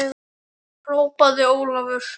hrópaði Ólafur.